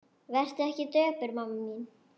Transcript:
Vertu ekki döpur mamma mín.